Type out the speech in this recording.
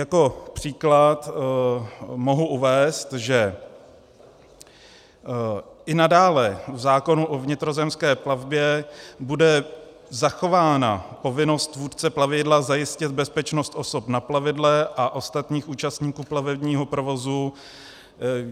Jako příklad mohu uvést, že i nadále v zákonu o vnitrozemské plavbě bude zachována povinnost vůdce plavidla zajistit bezpečnost osob na plavidle a ostatních účastníků plavebního provozu.